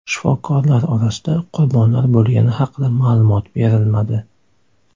Shifokorlar orasida qurbonlar bo‘lgani haqida ma’lumot berilmadi.